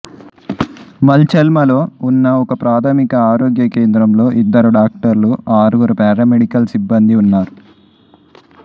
మల్చెల్మలో ఉన్న ఒకప్రాథమిక ఆరోగ్య కేంద్రంలో ఇద్దరు డాక్టర్లు ఆరుగురు పారామెడికల్ సిబ్బందీ ఉన్నారు